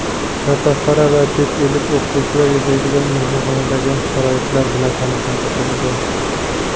yotoqxona va chet ellik o‘qituvchilar yashaydigan mehmonxonadagi sharoitlar bilan tanishtirildi.